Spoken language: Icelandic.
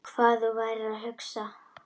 Hvað þú værir að hugsa.